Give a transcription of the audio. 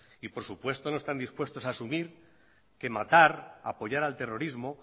y por supuesto no están dispuestos a asumir que matar apoyar al terrorismo